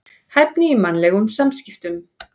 Hæfni í mannlegum samskiptum.